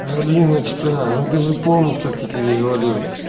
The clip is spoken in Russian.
алиночка ну ты же помнишь как я тебе говорил